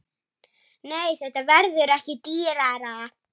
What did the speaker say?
Nei, þetta verður ekki dýrara.